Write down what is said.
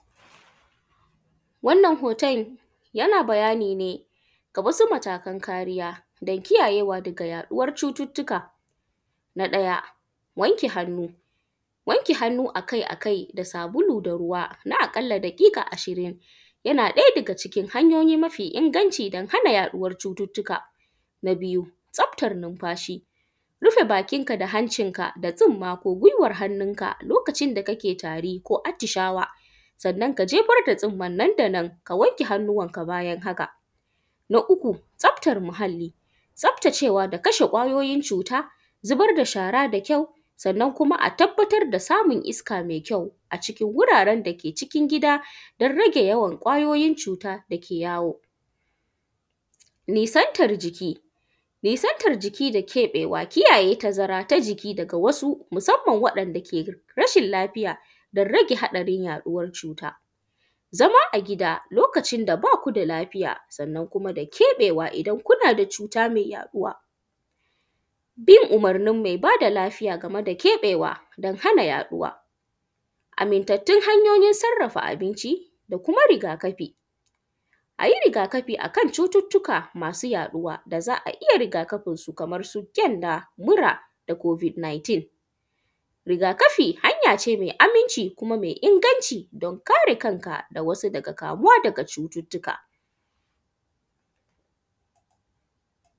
Wannan hton yana bayani ne ga wasu matakan kariya da kiyayewa daga yaɗuwan cututtuka. Na ɗaya wanke hannu, wanke hanu akai akai da sabulo da ruwa na ƙalla da ƙiƙa ashirin na ɗaya daga cikin hanyoyi mafi inganci da hana yaɗuwan cututtuka. Na biyu tsaftan nunfashi, rufe bakinka da hancinka da tsunma ko giwan hannunka lokacin da kake tari ko atishawa sannan ka jefar da tsinman nandanan sannan ka wanke hannuwanka bayan haka. Na uku tsaftan muhalli tsaftace da kashe kwayoyin cuta zubar da shawa da shara da kyau sannan kuma a tabbatar da samun iska me kyau a cikin wuraren da ke cikin gida don rage yawan kwayoyin cuta da ke yawo. Nisantan jiki da keɓewa, kiyaye tazara daga wasu musanman waɗanda ke rashin lafiya don rage haɗarin yaɗuwan cuta, zama a gida lokaci da ba ku da lafiya sannan kuma da keɓewa idan kuna da cuta me yaɗuwa bin umurnin mai kula da lafiya da keɓewa don hana yaɗuwa. Amintattun hanyoyin sarrafa abinci da kuma rigakafi, a yi rigakafi akan cututtuka masu yaɗuwa da za a iya rigakafinsu kamansu mura da covid-19. Rigakafi hanya ce mai aminci da inganci don kare kanka da wasu daga kamuwa da cututtuka.